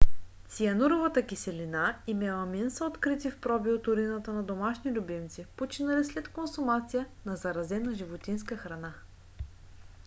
циануровата киселина и меламин са открити в проби от урината на домашни любимци починали след консумация на заразена животинска храна